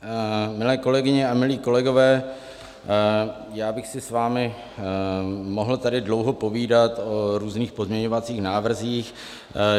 Milé kolegyně a milí kolegové, já bych si s vámi mohl tady dlouho povídat o různých pozměňovacích návrzích.